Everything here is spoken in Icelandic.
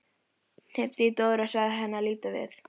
Hnippti í Dóru og sagði henni að líta við.